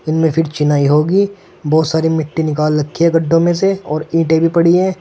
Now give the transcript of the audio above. चेन्नई होगी बहुत सारी मिट्टी निकाल रखी है गढ़ो में से और ईटे भी पड़ी है।